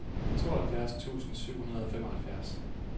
tooghalvfjerds tusind syv hundrede og femoghalvfjerds